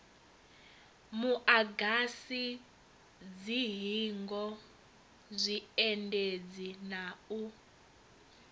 muagasi dzihingo zwiendedzi na u